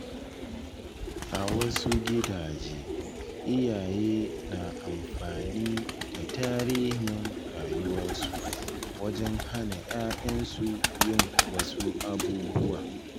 A wasu gidaje, iyaye na amfani da tarihin rayuwarsu wajen hana ‘ya’yansu yin wasu abubuwa.